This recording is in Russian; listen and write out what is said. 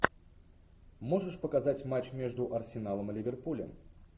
можешь показать матч между арсеналом и ливерпулем